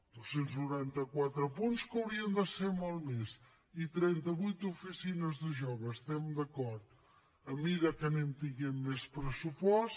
dos cents noranta quatre punts que haurien de ser molts més i trenta vuit oficines de joves hi estem d’acord a mesura que anem tenint més pressupost